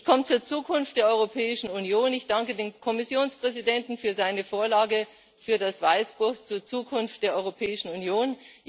Ich komme zur Zukunft der Europäischen Union. Ich danke dem Kommissionspräsidenten für seine Vorlage, für das Weißbuch zur Zukunft der Europäischen Union.